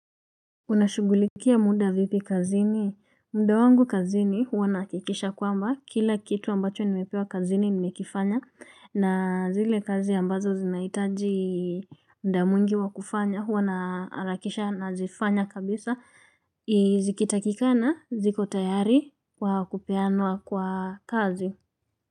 Unashugulikia muda vipi kazini? Mda wangu kazini huwa nakikisha kwamba kila kitu ambacho nimepewa kazini nimekifanya na zile kazi ambazo zinaitaji mda mwingi wa kufanya huwa na arakisha nazifanya kabisa zikitakikana ziko tayari kwa kupeanwa kwa kazi.